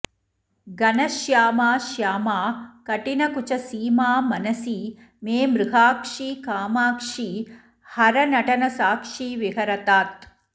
घनश्यामा श्यामा कठिनकुचसीमा मनसि मे मृगाक्षी कामाक्षी हरनटनसाक्षी विहरतात्